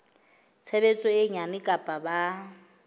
tshebetso e nyane kapa ba